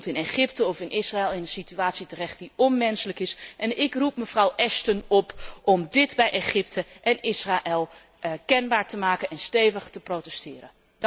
Je komt in Egypte of in Israël, in een situatie terecht die onmenselijk is. Ik roep mevrouw Ashton op om dit bij Egypte en Israël kenbaar te maken en stevig te protesteren.